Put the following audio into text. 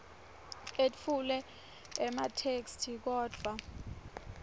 etfule ematheksthi kodvwa